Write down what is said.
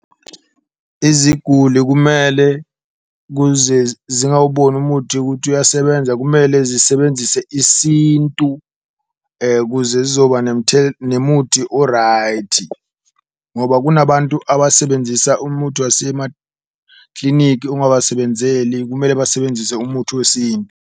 Iziguli kumele kuze zingawuboni umuthi ukuthi uyasebenza kumele zisebenzise isintu ukuze zizoba nemuthi o-right, ngoba kunabantu abasebenzisa umuthi wasemaklinikhi ungasebenzeli, kumele basebenzise umuthi .